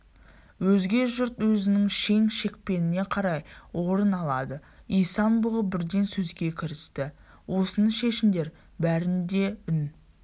өзге жұрт өзінің шен-шекпеніне қарай орын алады исан-бұғы бірден сөзге кірісті осыны шешіңдер бәрінде де үн